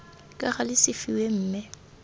ka gale se fiwe mme